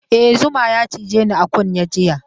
E, zuma ya cije ni a kunne jiya.